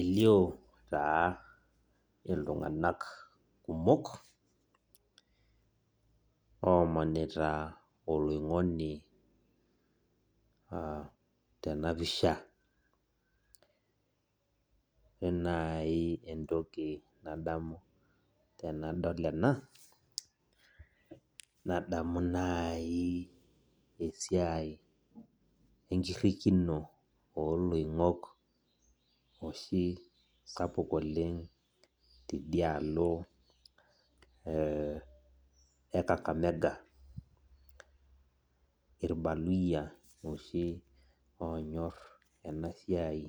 Elio taa iltung'anak kumok, omanita oloing'oni tenapisha. Ore nai entoki nadamu tenadol ena, nadamu nai esiai enkirrikino oloing'ok oshi sapuk oleng tidialo e Kakamega. Irbaluyia oshi onyor enasiai